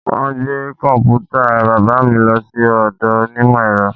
Wọn gbé kọ̀m̀pútà bàbà mi lọ sí ọ̀dọ̀ onímọ̀ ẹ̀rọ